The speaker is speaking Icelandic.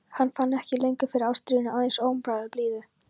Hann fann ekki lengur fyrir ástríðunni, aðeins óumræðilegri blíðu.